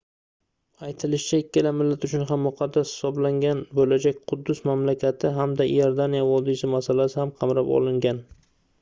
aytilishicha ikkala millat uchun ham muqaddas hisoblangan boʻlajak quddus mamlakati hamda iordaniya vodiysi masalasi ham qamrab olingan